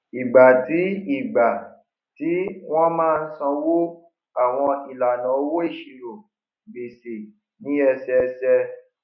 ìgbà tí ìgbà tí wọn máa sanwó àwọn ìlànà owó ìṣirò gbèsè ní ẹsẹẹsẹ